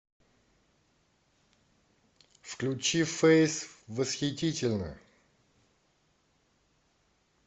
включи фэйс восхитительно